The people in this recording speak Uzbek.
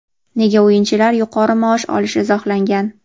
nega o‘yinchilar yuqori maosh olishi izohlangan.